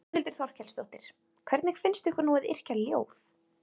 Þórhildur Þorkelsdóttir: Hvernig finnst ykkur nú að yrkja ljóð?